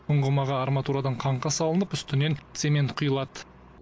ұңғымаға арматурадан қаңқа салынып үстінен цемент құйылады